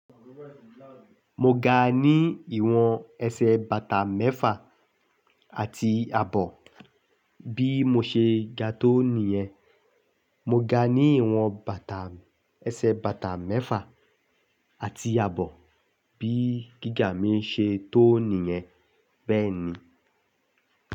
Mo ga ní ìwọ̀n ẹsẹ̀ bàtà mẹ́fà àti àbọ̀ bí mo ṣe ga tó nìyẹn. Mo ga ní ìwọ̀n bàtà ẹsẹ̀ bàtà mẹ́fà àti àbọ̀ bí gíga mi ṣe tó nìyẹn, bẹ́ẹ̀ ni.